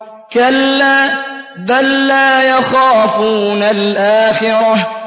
كَلَّا ۖ بَل لَّا يَخَافُونَ الْآخِرَةَ